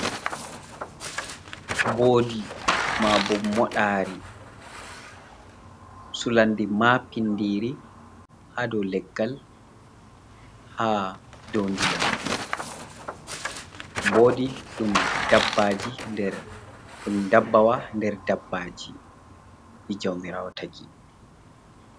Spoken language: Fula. Mboodi mabo modari sulande ma pindiri, ha do leggal, ha do ndiyam, mboodi dabbaji dum dabbawa der dabbaji jamirawo tagi.